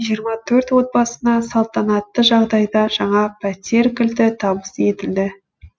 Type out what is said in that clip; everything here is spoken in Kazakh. жиырма төрт отбасына салтанатты жағдайда жаңа пәтер кілті табыс етілді